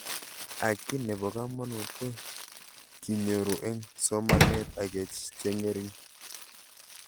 Ak kiy nepo kamanut ko kinyoru eng' somanet ake che ng'ering'